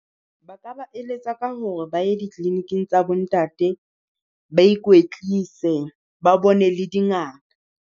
Ba ka ba eletsa ka hore ba ya di-clinic-ng tsa bo ntate, ba ikwetlise ba bone le dingaka.